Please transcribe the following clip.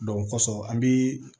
o kɔsɔn an bi